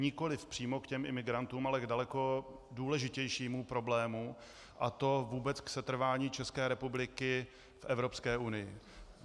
Nikoli přímo k těm imigrantům, ale k daleko důležitějšímu problému, a to vůbec k setrvání České republiky v Evropské unii.